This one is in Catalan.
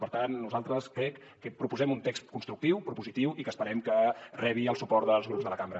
per tant nosaltres crec que proposem un text constructiu propositiu i que esperem que rebi el suport dels grups de la cambra